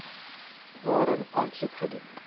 waarin aansoek gedoen